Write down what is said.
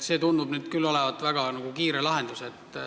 See tundub küll olevat väga kiire lahendus.